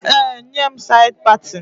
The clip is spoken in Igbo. Ee, nye m said patin